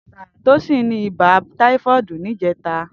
Tosin ni ibà tàífọ̀dí nijètá